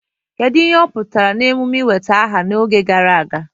Kedu ihe ọ pụtara na emume ị nweta aha n'oge gara aga?